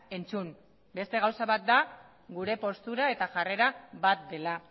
entzun beste gauza bat da gure postura eta jarrera bat dela